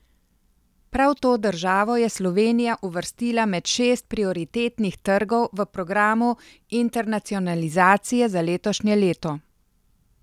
Prav to državo je Slovenija uvrstila med šest prioritetnih trgov v programu internacionalizacije za letošnje leto.